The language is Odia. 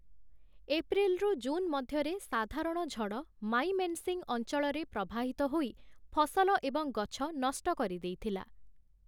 ଏପ୍ରିଲ୍‌ରୁ ଜୁନ୍ ମଧ୍ୟରେ ସାଧାରଣ ଝଡ଼ ମାଇମେନ୍‌ସିଂ ଅଞ୍ଚଳରେ ପ୍ରବାହିତ ହୋଇ ଫସଲ ଏବଂ ଗଛ ନଷ୍ଟ କରିଦେଇଥିଲା ।